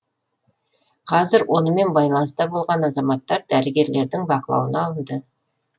қазір онымен байланыста болған азаматтар дәрігерлердің бақылауына алынды